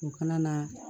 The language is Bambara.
U kana na